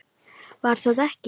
Var það ekki?